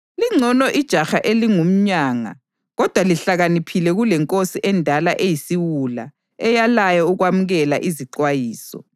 Lingcono ijaha elingumyanga kodwa lihlakaniphile kulenkosi endala eyisiwula eyalayo ukwamukela izixwayiso.